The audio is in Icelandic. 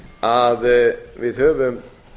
að við höfum